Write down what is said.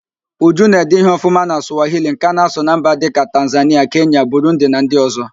Uju na-ede ihe ọfụma na Sụwahili nke a na-asụ na mba dịka: Tanzanịa, Kenya, Burundi na ndị ọzọ